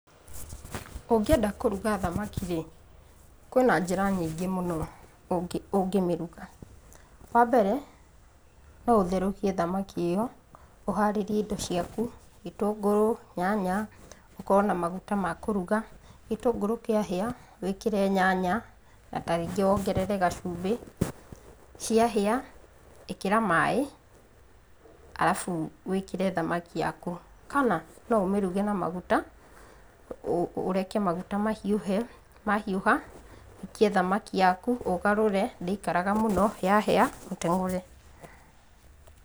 Ũngĩenda kũruga thamaki rĩ, kwĩna njĩra nyingĩ mũno ũngĩmĩruga. Wambere, no ũtherũkie thamaki ĩyo, ũharĩrie indo ciaku, gĩtũngũrũ, nyanya, ũkorwo na maguta ma kũruga, gĩtũngũrũ kĩahĩa, wĩkĩre nyanya, na tarĩngĩ wongerere gacumbĩ. Ciahĩa, ĩkĩra maĩ arabu wĩkĩre thamaki yaku. Kana, no ũmĩruge na maguta, ũreke maguta mahiũhe, mahiũha, ũikie thamaki yaku, ũgarũre ndĩikaraga mũno, yahĩa, ũteng'ũre.